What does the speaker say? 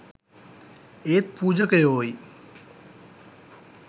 ඒත් පූජකයෝයි